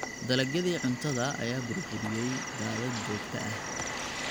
Dalagyadii cuntada ayaa burburiyay daadad joogta ah.